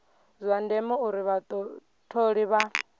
zwa ndeme uri vhatholi vha